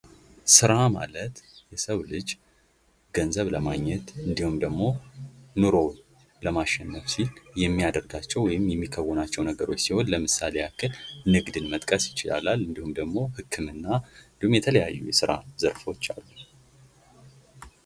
ስራ ማለት የሰው ልጅ ገዘብ ለማግኘት እንዲሁም ደሞ ኑሮውን ለማሸነፍ ሲል የሚያደርጋቸው ወይም የሚከውናቸው ነገሮች ሲሆን ለምሳሌ ያክል ንግድን መጥቀስ ይቻላል እንዲሁም ደሞ ህክምና እንዲሁም የተለያዩ የስራ ዘርፎች አሉ።